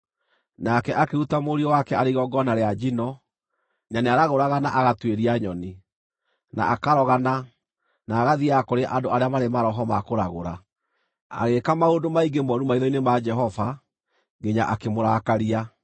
Nake akĩruta mũriũ wake arĩ igongona rĩa njino, na nĩaragũraga na agatuĩria nyoni, na akarogana, na agathiiaga kũrĩ andũ arĩa marĩ maroho ma kũragũra. Agĩĩka maũndũ maingĩ mooru maitho-inĩ ma Jehova, nginya akĩmũrakaria.